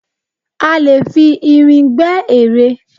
A leè fi irin gbe ere